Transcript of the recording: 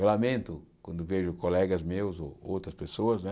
Eu lamento quando vejo colegas meus ou outras pessoas, né,